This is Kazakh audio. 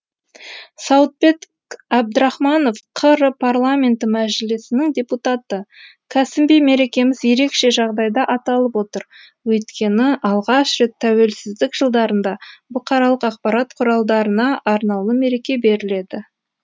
сауытбек әбдірахманов қр парламенті мәжілісінің депутаты кәсіби мерекеміз ерекше жағдайда аталып отыр өйткені алғаш рет тәуелсіздік жылдарында бұқаралық ақпарат құралдарына арнаулы мереке беріледі